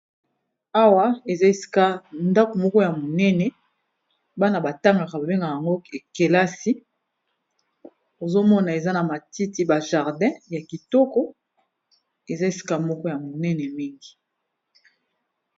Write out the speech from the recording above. Awa eza Esika ndaku Moko ya muñene Bana batagaka eza kalasi Esika Bana naranja.